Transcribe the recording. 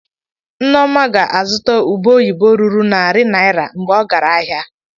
Nneoma ga-azụta ube oyibo ruru narị naira mgbe ọ gara ahịa.